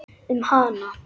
Um hana?